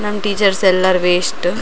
ನಮ್ಮ್ ಟೀಚರ್ಸ್ ಎಲ್ಲಾರ್ ವೆಸ್ಟ್ --